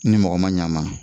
Ni mɔgɔ ma ɲ'a ma